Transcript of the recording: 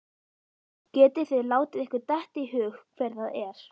Getið þið látið ykkur detta í hug hver það er?